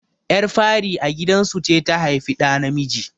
Ƴar fari a gidan su ce ta haifi ɗa namiji.